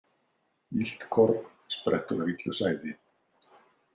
Illt korn sprettur af illu sæði.